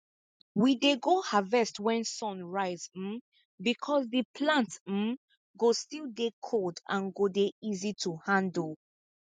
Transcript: we dey go harvest wen sun rise um becos di plants um go still dey cold and go dey easy to handle